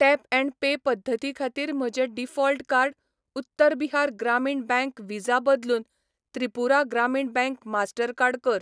Tap and pay पद्दती खातीर म्हजें default card Uttar Bihar Gramin bank Visa बदलून त्रिपुरा ग्रामीण बँक मास्टरकार्ड कर.